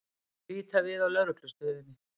Líta við á Lögreglustöðinni.